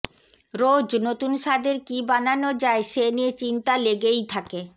রোজ নতুন স্বাদের কি বানানো যায় সে নিয়ে চিন্তা লেগেই থাকে